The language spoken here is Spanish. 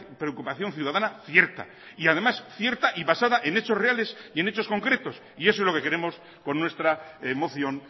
preocupación ciudadana cierta y además cierta y basada en hechos reales y en hechos concretos y eso es lo que queremos con nuestra moción